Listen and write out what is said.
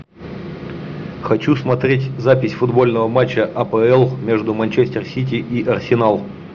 хочу смотреть запись футбольного матча апл между манчестер сити и арсенал